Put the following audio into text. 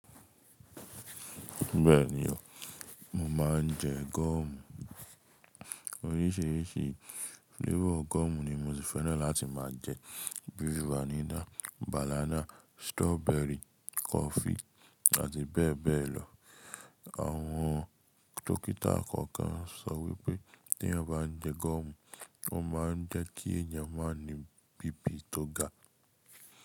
Bẹ́ẹ̀ni o, mo máa ń jẹ gọ́ọ̀mù oríṣiríṣi. Flavor gọ́ọ̀mù ni mo ṣi fẹ́ràn láti máa jẹ, bíi vanilla, banana, strawberry, coffee àti bẹ́ẹ̀ bẹ́ẹ̀ lọ. Àwọn dókítà gangan sọ wípé tí a bá ń jẹ gọ́ọ̀mù, ó máa ń jẹ́ kí èèyàn máa ní BP tó ga.